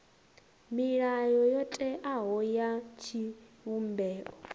milayo yo teaho ya tshivhumbeo